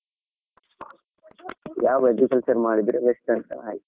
ಯಾವ agriculture ಮಾಡಿದ್ರೆ best ಅಂತಾ ಹಾಗೆ.